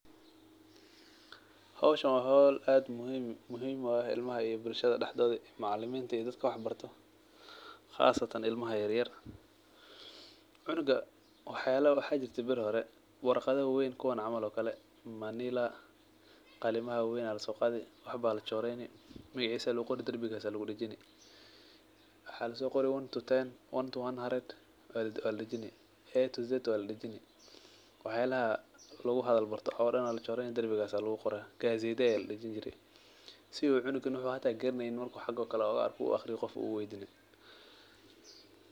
Howshan wa howl ad muhim u ah ilmaha iyo bulshada daxdodha, macaliminta iyo dadka wax barto qasatan ilmaha yaryar . Cunuga waxaa jirte beri hore , warqada waweyn kuwa on kale manila qalima lasoqade magacisa laguqori darbiga lagudajini, waxaa lasoqori one to ten, 'a' to 'z' waladajini, waxyalaha laguhadal barto oo dhan aa lachoreyni darbigas aa laguqorah, gazetya aa ladijin jire si uu cunuga hadaa garaneynin uu xaga o kale uga arko u aqriyo , qof uu weydinin.